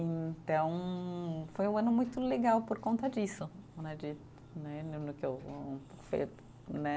Então, foi um ano muito legal por conta disso né de, né né.